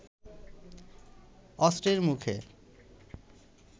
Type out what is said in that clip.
অস্ত্রের মুখে